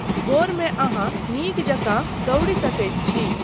भोरमे अहाँ नीक जकाँ दौड़ी सकैत छी।